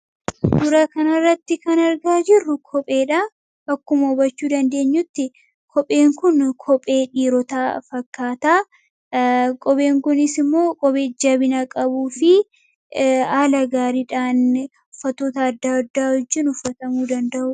Dura kanarratti kan argaa jirru kopheedha. akkuma hubachuu dandeenyutti kopheen kun kophee dhiirotaa fakkaataa kopheen kunis immoo kophee jabinaa qabuu fi haala gaariidhaan ufffatoota adda addaa wajjiin uffatamuu danda'u.